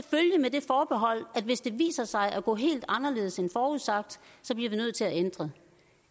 med det forbehold at hvis det viser sig at gå helt anderledes end forudsagt bliver vi nødt til at ændre